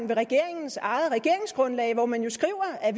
ved regeringens eget regeringsgrundlag hvor man jo skriver at